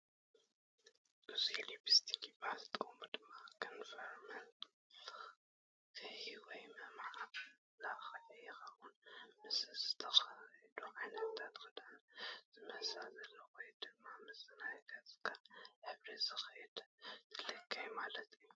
እዙይ ሊፕስቲክ ይበሃል ጥቐሙ ድማ ንከንፈር መልከይ ወይ መማላኽዒ ይኸውን፡ ምስቲ ዝተኸደንካዮ ዓይነት ክዳን ዝመሳሰል ወይ ድማ ምስ ናይ ገፅካ ሕብሪ ዝኸይድ ትለኪ ማለት እዩ ።